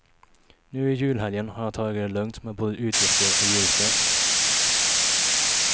Nu i julhelgen har jag tagit det lugnt, med både utgifter och julstök.